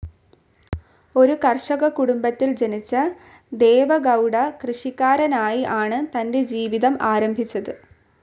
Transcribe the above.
ഒരു കർഷക കുടുംബത്തിൽ ജനിച്ച ദേവെഗൗഡ കൃഷിക്കാ‍രനായി ആണ് തന്റെ ജീവിതം ആരംഭിച്ചത്.